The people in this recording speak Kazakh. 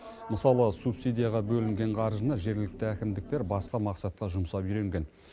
мысалы субсидияға бөлінген қаржыны жергілікті әкімдіктер басқа мақсатқа жұмсап үйренген